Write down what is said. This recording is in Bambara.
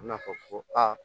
A bɛna fɔ ko aa